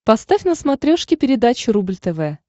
поставь на смотрешке передачу рубль тв